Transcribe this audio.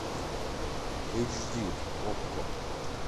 эйч ди окко